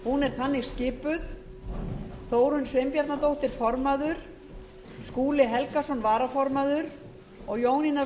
hún er þannig skipun formaður þórunn sveinbjarnardóttir varaformaður skúli helgason ritari jónína